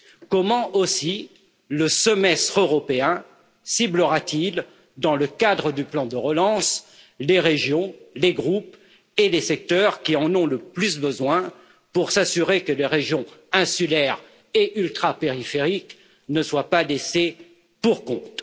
Comment aussi le Semestre européen ciblera t il, dans le cadre du plan de relance, les régions, les groupes et les secteurs qui en ont le plus besoin pour s'assurer que les régions insulaires et ultrapériphériques ne soient pas laissées pour compte?